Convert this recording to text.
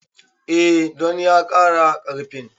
E, don ya ƙara ƙarfin